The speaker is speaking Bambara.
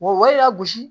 Wa i y'a gosi